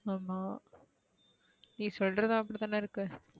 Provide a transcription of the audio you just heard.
ஆமா நீ சொல்றதும் அப்டி தான இருக்கு